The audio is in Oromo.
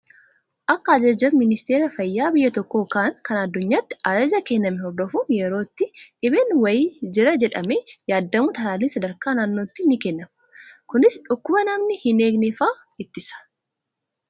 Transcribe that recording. Akka ajaja ministeera fayyaa biyya tokkoo yookaan kan addunyaatti ajaja kenname hordofuun yeroo itti dhibeen wayii Jira jedhamee yaadamu talaalliin sadarkaa naannootti ni Kennama. Kunis dhukkuba namni hin eegne fa'aa ittisa.